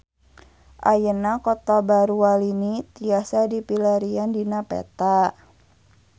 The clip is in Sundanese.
Ayeuna Kota Baru Walini tiasa dipilarian dina peta